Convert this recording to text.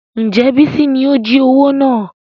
Ǹjẹ́ bísí ni ó jí owó náà?